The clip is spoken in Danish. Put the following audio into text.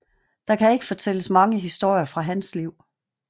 Der kan ikke fortælles mange historier fra hans liv